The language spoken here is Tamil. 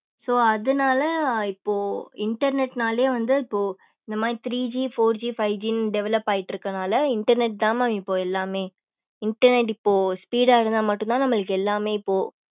so அதனால இப்போ internet நாலே வந்து இப்போ இந்த மாரி three G four G five G develop ஆயிட்டு இருக்கு அதனால internet தான் mam இப்ப எல்லாமே internet இப்போ speed ஆகுதுன்னா மட்டும் தான் நம்மளுக்கு எல்லாமே இப்போ